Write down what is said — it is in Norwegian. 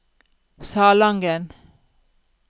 Salangen